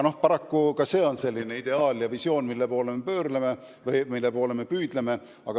Paraku ka see on ideaal, mille poole me püüdleme.